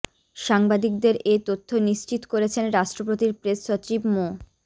সাংবাদিকদের এ তথ্য নিশ্চিত করেছেন রাষ্ট্রপতির প্রেস সচিব মো